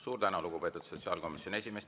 Suur tänu, lugupeetud sotsiaalkomisjoni esimees!